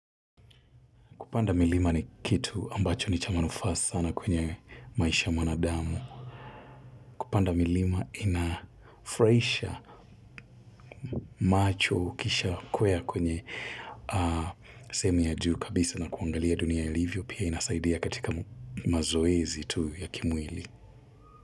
Kupanda milima ni kitu ambacho ni cha manufaa sana kwenye maisha ya mwanadamu. Kupanda milima inafurahisha macho ukishakwea kwenye sehemu ya juu kabisa na kuangalia dunia ilivyo pia inasaidia katika mazoezi tu ya kimwili.